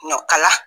Ɲɔkala